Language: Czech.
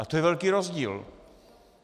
A to je velký rozdíl.